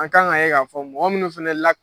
An kan ka ye k'a fɔ mɔgɔ minnu fɛnɛ lak